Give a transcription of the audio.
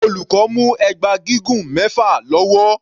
Olùkọ́ mú ẹgba gígùn mẹfa lọ́wọ́.